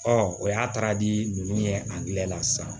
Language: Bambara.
o y'a taara di ninnu ye a diyɛ la sisan